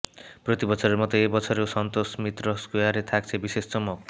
প্রতি বছরের মত এবছরেও সন্তোষ মিত্র স্কোয়ারে থাকছে বিশেষ চমক